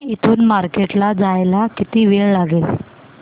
इथून मार्केट ला जायला किती वेळ लागेल